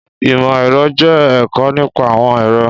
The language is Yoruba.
Ìmọ̀ ẹ̀rọ jẹ́ ẹ̀kọ́ nípa àwọn ẹ̀rọ